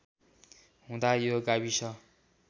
हुँदा यो गाविस